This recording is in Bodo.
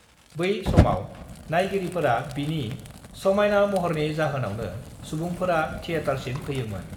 बै समआव नायगिरिफोरा बिनि समायना महरनि जाहोनावनो सुबुंफोरा थिएटारसिम फैयोमोन।